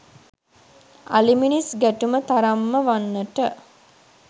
අලි මිනිස් ගැටුම තරම්ම වන්නට